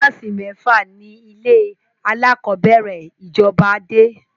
Kílàsì Mẹ́fà ni ilé alákọ̀bẹ́rẹ̀ ìjọba dé